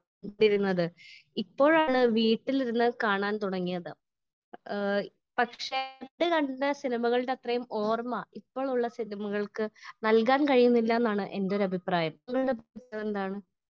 Speaker 1 ഇരുന്നത് . ഇപ്പോഴാണ് വീട്ടിലിരുന്ന് കാണാൻ തുടങ്ങിയത് . പക്ഷേ പണ്ട് കണ്ട സിനിമകളുടെ അത്രയും ഓർമ്മ ഇപ്പോഴുള്ള സിനിമകൾക്ക് നല്കാൻ കഴിയുന്നില്ല എന്നാണ് എന്റെ ഒരു അഭിപ്രായം .